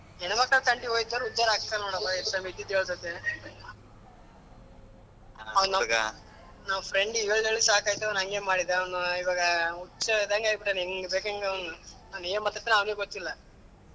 ಹೆಣ್ಣುಮಕ್ಲ್ ತಂಟೆಗೆ ಹೊಯ್ದೋರ್ ಉದ್ದಾರಾ ಇದ್ದಿದ್ದು ಹೇಳ್ತೈತಿ ನಾನ್ friend ಗೆ ಹೇಳಿ ಹೇಳಿ ಸಾಕಾಯ್ತು ಅವ್ನು ಅಂಗೆ ಮಾಡಿದಾ ಅವ್ನು ಈವಾಗ ಹುಚ್ಚ ಆದಂಗ್ ಆಗ್ಬಿಟ್ಟಿದ್ದಾನೆ ಅವ್ನ್ ಏನ್ ಮಾತಾಡ್ತಾನೋ ಅವ್ನಿಗೆ ಗೊತ್ತಿಲ್ಲ.